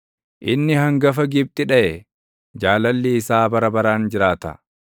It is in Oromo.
inni hangafa Gibxi dhaʼe; Jaalalli isaa bara baraan jiraata.